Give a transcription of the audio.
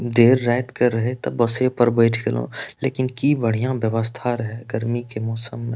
देर रात के रहे त बसे पे बैठ गएलो लेकिन की बढ़िया व्यवस्था रहे गर्मी के मौसम में।